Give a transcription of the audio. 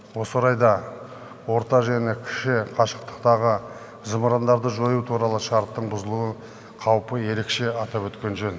осы орайда орта және кіші қашықтықтағы зымырандарды жою туралы шарттың бұзылу қаупі ерекше атап өткен жөн